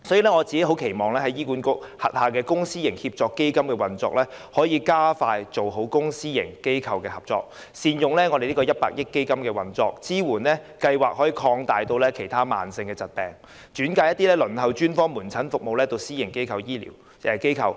所以，我期望在醫院管理局轄下的公私營協作計劃下，可以加快做好公私營機構的合作，善用100億元基金推行服務，把支援計劃擴大至其他慢性疾病，以及把一些正在輪候專科門診服務的病人轉介至私營醫療機構。